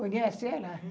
Conhece ela?